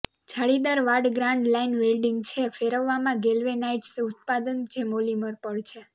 જાળીદાર વાડ grand line welding છે ફેરવવામાં ગેલ્વેનાઈઝ્ડ ઉત્પાદન જે પોલિમર પડ છે